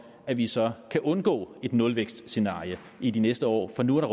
at vi så kan undgå et nulvækstscenarie i de næste år for nu er